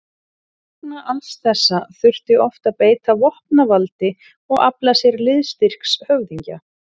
Vegna alls þessa þurfti oft að beita vopnavaldi og afla sér liðstyrks höfðingja.